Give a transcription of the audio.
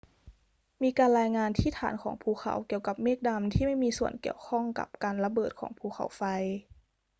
มีการรายงานที่ฐานของภูเขาเกี่ยวกับเมฆดำที่ไม่มีส่วนเกี่ยวข้องกับการระเบิดของภูเขาไฟ